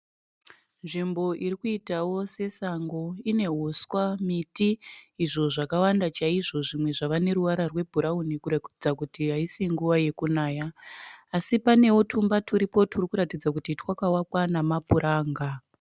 Nzvimbo irikuitawo sesango. Ine huswa, miti, izvo zvakawanda chaizvo. zvimwe zvava neruvara rwebhurawuni kuratidza kuti haisi nguva yekunaya, asi panewo tumba turipo turikuratidza kuti twakavakwa nemapuranga.